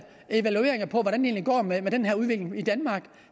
den her udvikling i danmark